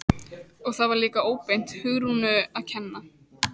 Og það var líka óbeint Hugrúnu að kenna.